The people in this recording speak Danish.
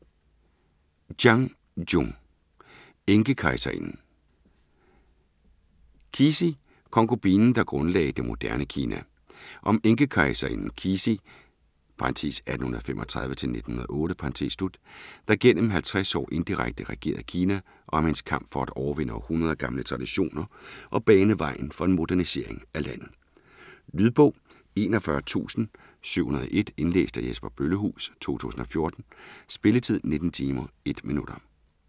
Chang, Jung: Enkekejserinden Cixi, konkubinen, der grundlagde det moderne Kina. Om enkekejserinden Cixi (1835-1908), der gennem 50 år indirekte regerede Kina, og om hendes kamp for at overvinde århundreder gamle traditioner og bane vejen for en modernisering af landet. Lydbog 41701 Indlæst af Jesper Bøllehuus, 2014. Spilletid: 19 timer, 1 minutter.